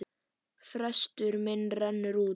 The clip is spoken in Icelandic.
Frestur minn rennur út.